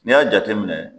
N'i y'a jateminɛ